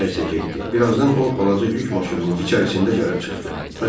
Birazdan o balaca yük maşınının içərisində gəlib çıxdı.